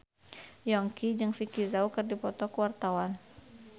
Yongki jeung Vicki Zao keur dipoto ku wartawan